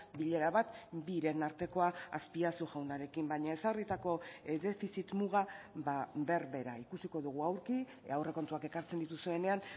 bilera bat biren artekoa azpiazu jaunarekin baina ezarritako defizit muga berbera ikusiko dugu aurki aurrekontuak ekartzen dituzuenean